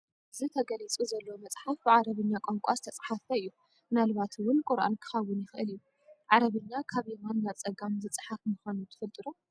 እዚ ተገሊፁ ዘሎ መፅሓፍ ብዓረብኛ ቋንቋ ዝተፃሕፈ እዩ፡፡ ምናልባት እውን ቁርኣን ክኸውን ይኽእል እዩ፡፡ ዓረብኛ ካብ የማን ናብ ፀጋም ዝፀሓፍ ምዃኑ ትፈልጡ ዶ?